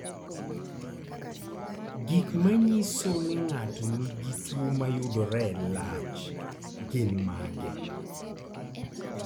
Gik manyiso ni ng'ato nigi tuwo mayudore e lach gin mage?